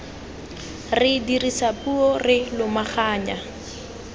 re dirisa puo re lomaganya